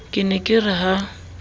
ke ne ke re ha